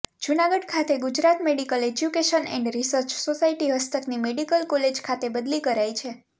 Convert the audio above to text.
જુનાગઢ ખાતે Gujarat medical education and research society હસ્તકની medical college ખાતે બદલી કરાઈ છે